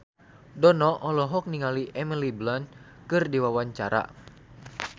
Dono olohok ningali Emily Blunt keur diwawancara